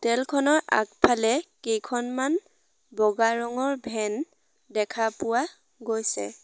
আগফালে কেইখনমান বগা ৰঙৰ ভেন দেখা পোৱা গৈছে।